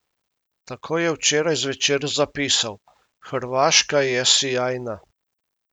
Tako je včeraj zvečer zapisal: "Hrvaška je sijajna.